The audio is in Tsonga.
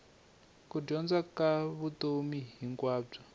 ku dyondza ka vutomi hinkwabyo